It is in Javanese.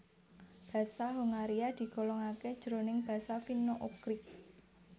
Basa Hongaria digolongaké jroning basa Finno Ugrik